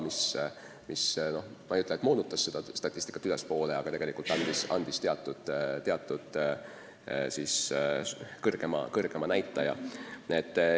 Ma ei ütle, et see moonutas seda statistikat, aga andis tegelikult teatud kõrgema näitaja.